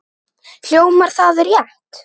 Hljómar það rétt?